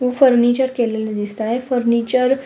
हे फर्निचर केलेल दिसत आहे फर्निचर --